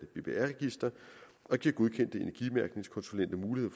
bbr register og giver godkendte energimærkningskonsulenter mulighed